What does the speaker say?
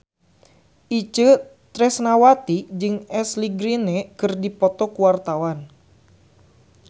Itje Tresnawati jeung Ashley Greene keur dipoto ku wartawan